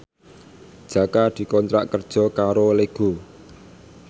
Jaka dikontrak kerja karo Lego